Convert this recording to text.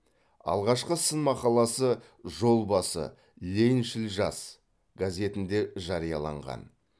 алғашқы сын мақаласы жол басы лениншіл жас газетінде жарияланған